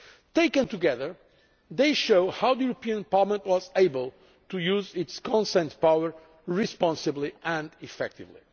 Taken together, they show how Parliament was able to use its consent power responsibly and effectively.